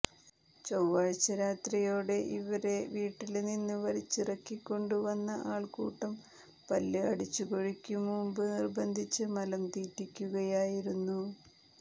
ചൊവ്വാഴ്ച രാത്രിയോടെ ഇവരെ വീട്ടില് നിന്ന് വലിച്ചിറക്കിക്കൊണ്ടുവന്ന ആള്ക്കൂട്ടം പല്ല് അടിച്ചുകൊഴിക്കും മുമ്പ് നിര്ബന്ധിച്ച് മലം തീറ്റിക്കുകയായിരുന്നു